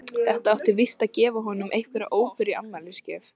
Það átti víst að gefa honum einhverja óperu í afmælisgjöf.